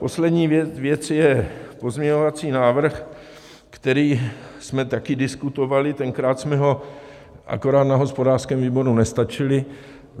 Poslední věc je pozměňovací návrh, který jsme taky diskutovali, tenkrát jsme ho akorát na hospodářském výboru nestačili.